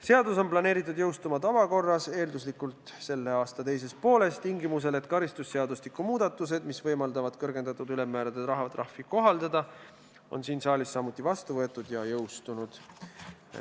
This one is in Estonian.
Seadus on planeeritud jõustuma tavakorras, eelduslikult selle aasta teises pooles, tingimusel, et karistusseadustiku muudatused, mis võimaldavad kõrgendatud ülemmääraga rahatrahvi kohaldada, on siin saalis samuti vastu võetud ja jõustunud.